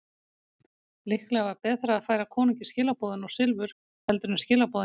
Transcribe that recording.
Líklega var betra að færa konungi skilaboðin og silfur heldur en skilaboðin einsömul.